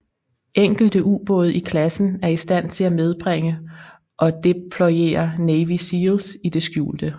Enkelte ubåde i klassen er i stand til at medbringe og deployere Navy SEALs i det skjulte